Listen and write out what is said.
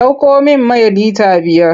Ɗauko min mai lita biyar!